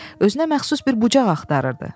Özünə məxsus bir bucaq axtarırdı.